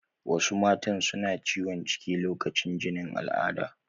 Wasu matan suna ciwon ciki lokacin jinin alada